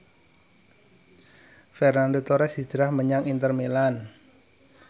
Fernando Torres hijrah menyang Inter Milan